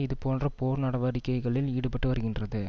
இது போன்ற போர் நடவடிக்கைகளில் ஈடுபட்டு வருகின்றது